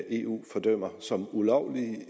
eu fordømmer som ulovlige